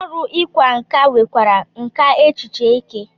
Ndị ọrụ ịkwa nkà nwekwara nkà echiche eke.